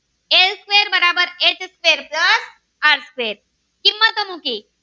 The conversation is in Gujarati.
આર છે કિંમત મૂકી